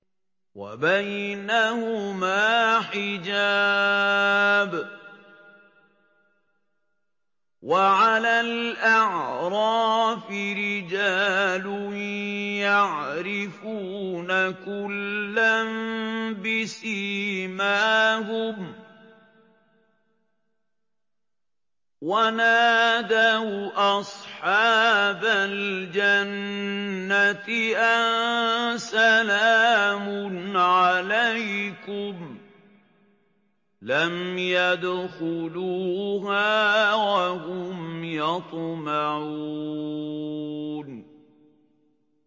وَبَيْنَهُمَا حِجَابٌ ۚ وَعَلَى الْأَعْرَافِ رِجَالٌ يَعْرِفُونَ كُلًّا بِسِيمَاهُمْ ۚ وَنَادَوْا أَصْحَابَ الْجَنَّةِ أَن سَلَامٌ عَلَيْكُمْ ۚ لَمْ يَدْخُلُوهَا وَهُمْ يَطْمَعُونَ